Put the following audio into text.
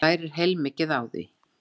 Þú lærir heilmikið á því.